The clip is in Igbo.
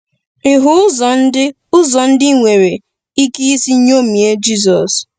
Ị hụ ụzọ ndị ụzọ ndị i nwere um ike isi ṅomie Jizọs?